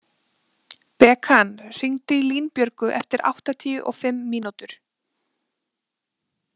Bekan, hringdu í Línbjörgu eftir áttatíu og fimm mínútur.